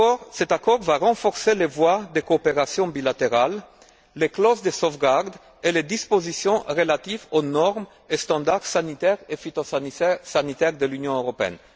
Cet accord va renforcer les voies de coopération bilatérale, les clauses de sauvegarde et les dispositions relatives aux normes et standards sanitaires et phytosanitaires de l'Union européenne.